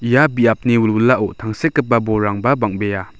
ia biapni wilwilao tangsekgipa bolrangba bang·bea.